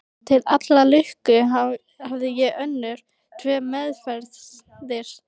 Til allrar lukku hafði ég önnur tvö meðferðis.